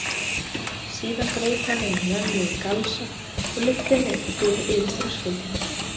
Síðan greip hann um mömmu í galsa og lyfti henni yfir þröskuldinn.